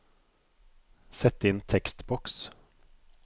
Sett inn tekstboks